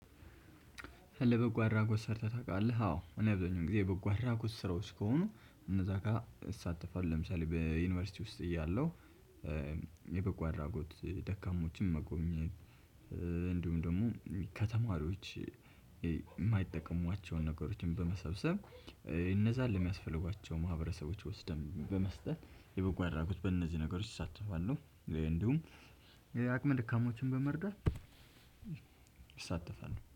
ለበጎ አድራጎት ሰርተህ ታውቃለህ? አዎ እኔ ብዙኛውን ጊዜ በጎ አድራጎት ስራዎች ከሆኑ እነዛ ጋር እሳተፋለሁ። ለምሳሌ በዩኒቨርሲቲ ውስጥ እያለሁ። የበጎ አድራጎት ደካሞችን መጎብኘት። ደግሞ ከተማሪዎች የማይጠቀሟቸውን ነገሮችን በመሰብሰብ እነዛን ለሚያስፈልጓቸው ማህበረሰቦች ወስደን በመስጠት የበጎ አድራጎት በእነዚህ ነገሮች እሳተፋለሁ። እንዲሁም አቅመ ደካሞችን በመርዳት። እሳተፋለሁ